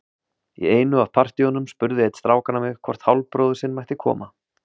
Í einu af partíunum spurði einn strákanna mig hvort hálfbróðir sinn mætti koma.